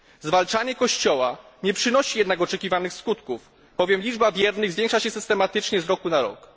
Zwalczanie Kościoła nie przynosi jednak oczekiwanych skutków, bowiem liczba wiernych zwiększa się systematycznie z roku na rok.